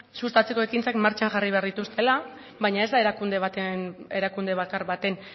sustatzeko ekintzak martxan jarri behar dituztela baina ez da erakunde bakar baten